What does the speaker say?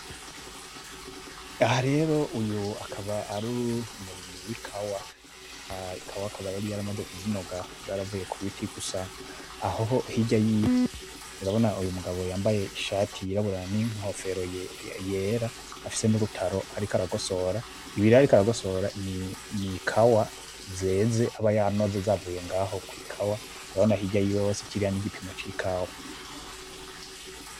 Aha rero uyu akaba ar'umurimyi w'ikawa. Ikawa ikaba yariko yaramaze kuzinoga yaravuye kubiti gusa ahoho hirya yiw, urabona umugabo yambaye Ishati y'irabura n'inkofero yera, afise n'urutaro ariko aragosora ,ibirero ariko aragosora ,n'ikawa zeze aba yanoze zavuye ngaho kw'ikawa urabona hirya yiwe kirya n'igipimo c'ikawa.